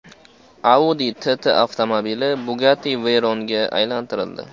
Audi TT avtomobili Bugatti Veyron’ga aylantirildi .